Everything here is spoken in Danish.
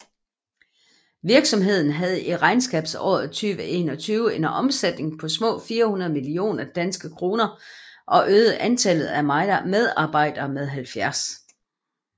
Virksomheden havde i regnskabsåret 2021 en omsætning på små 400 millioner DKK og øgede antallet af medarbejdere med 70